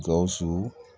Gawusu